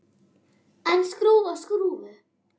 En skrúfa skrúfu?